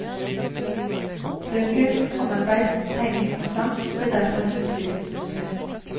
Bøker, håndarbeid, tegning og sang ble derfor hennes fritidssysler.